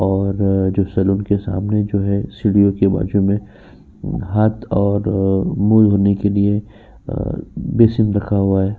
और जो सलून के सामने जो हैं सीढ़ियों के बाजु में। हाथ और मुँह धोने के लिए अ बेसिन रखा हुआ है।